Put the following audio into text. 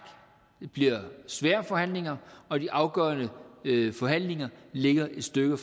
det bliver svære forhandlinger og de afgørende forhandlinger ligger et stykke